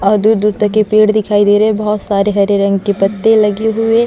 और दूर- दूर तक ये पेड़ दिखाई दे रहै है बहुत सारे हरे रंग के पत्ते लगे हुए --